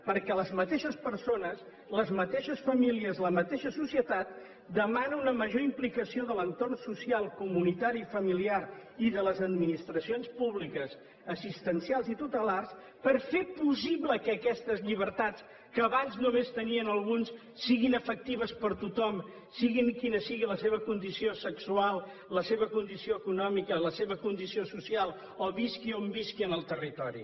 perquè les mateixes persones les mateixes famílies la mateixa societat demana una major implicació de l’entorn social comunitari i familiar i de les administracions públiques assistencials i tutelars per fer possible que aquestes llibertats que abans només tenien alguns siguin efectives per a tothom sigui quina sigui la seva condició sexual la seva condició econòmica la seva condició social o visqui on visqui en el territori